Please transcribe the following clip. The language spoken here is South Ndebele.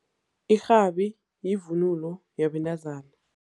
Irhabi yivunulo yabentazana.